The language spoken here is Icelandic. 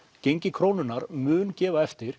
gengi krónunnar mun gefa eftir